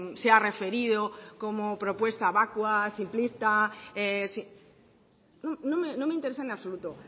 se ha referido como propuesta vacua simplista sí no me interesa en absoluto